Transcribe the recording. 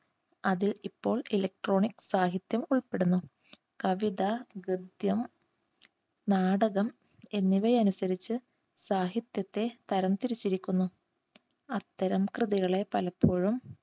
അത് ഇപ്പോൾ electronic സാഹിത്യം ഉൾപ്പെടുന്നു. കവിത, ഗദ്യം, നാടകം എന്നിവയെ അനുസരിച്ച് സാഹിത്യത്തെ തരംതിരിച്ചിരിക്കുന്നു. അത്തരം കൃതികളെ പലപ്പോഴും